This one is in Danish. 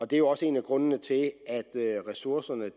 det er jo også en af grundene til at ressourcerne